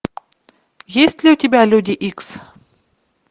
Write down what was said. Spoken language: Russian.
есть ли у тебя люди икс